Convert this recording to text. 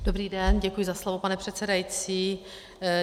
Dobrý den, děkuji za slovo, pane předsedající.